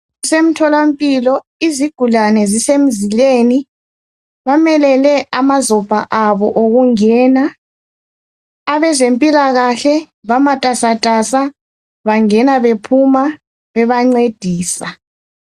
Kusemtholampilo izigulane zisemzileni ,bamelele amazopha abo okungena . Abezempilakahle bamatasatasa bangena bephuma bebancedisa.